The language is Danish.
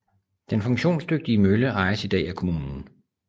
Den funktionsdygtige mølle ejes i dag af kommunen